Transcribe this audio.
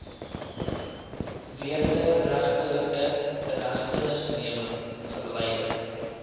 wederregtelike inhegtenisneming verleiding